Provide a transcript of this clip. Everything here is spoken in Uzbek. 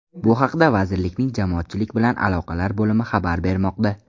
Bu haqda vazirlikning Jamoatchilik bilan aloqalar bo‘limi xabar bermoqda.